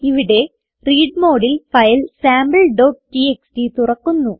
ഇവിടെ റീഡ് മോഡിൽ ഫയൽ sampleടിഎക്സ്ടി തുറക്കുന്നു